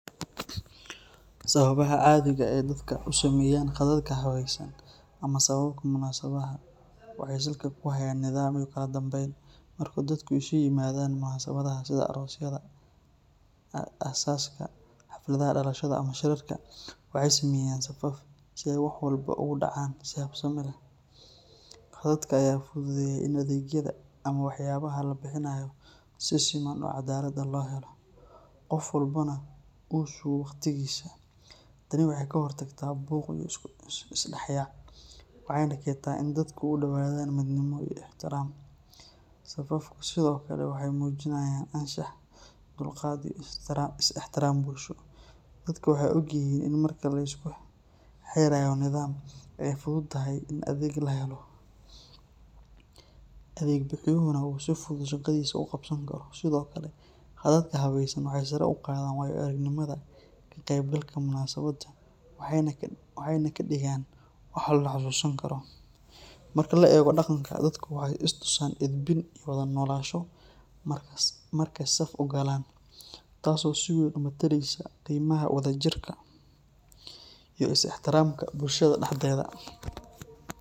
Sababaha caadiga ah ee dadka u sameeyaan khadadka habeysan ama safafka munaasabadaha waxay salka ku hayaan nidaam iyo kala dambeyn. Marka dadku isu yimaadaan munaasabadaha sida aroosyada, aasaska, xafladaha dhalashada ama shirarka, waxay sameeyaan safaf si ay wax walba ugu dhacaan si habsami leh. Khadadka ayaa fududeeya in adeegyada ama waxyaabaha la bixinayo si siman oo cadaalad ah loo helo, qof walbana uu sugo waqtigiisa. Tani waxay ka hortagtaa buuq iyo isdhexyaac, waxayna keentaa in dadku u dhowaadaan midnimo iyo ixtiraam. Safafku sidoo kale waxay muujinayaan anshax, dulqaad iyo is ixtiraam bulsho. Dadka waxay ogyihiin in marka la isku xeerayo nidaam, ay fududahay in adeeg la helo, adeeg bixiyuhuna uu si fudud shaqadiisa u qabsan karo. Sidoo kale, khadadka habeysan waxay sare u qaadaan waayo-aragnimada ka qeybgalka munaasabadda waxayna ka dhigaan wax la xasuusan karo. Marka la eego dhaqanka, dadku waxay is tusaan edbin iyo wada noolaansho markay saf u galaan, taas oo si weyn u metelaysa qiimaha wada jirka iyo is ixtiraamka bulshada dhexdeeda.